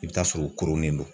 I bi t'a sɔrɔ o koronnen don